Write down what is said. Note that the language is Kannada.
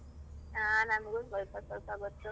ಹ ನನ್ಗು ಸೊಲ್ಪ ಸೊಲ್ಪ ಗೊತ್ತು.